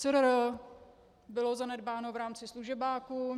CRR bylo zanedbáno v rámci služebáku.